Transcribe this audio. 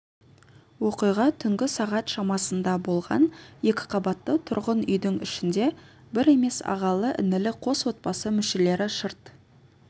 оқиға түнгі сағат шамасында болған екіқабатты тұрғын үйдің ішінде бір емес ағалы-інілі қос отбасы мүшелері шырт